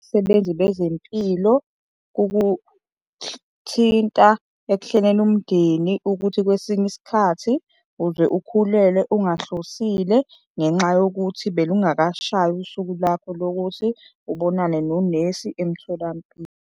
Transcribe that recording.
abasebenzi bezempilo ekuhleleni umndeni ukuthi kwesinye isikhathi uze ukhulelwe ungahlosiwe ngenxa yokuthi belungakashayi usuku lwakho lokuthi ubonane nonesi emtholampilo.